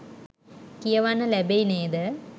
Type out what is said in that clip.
කියවන්න ලැබෙයි නේද?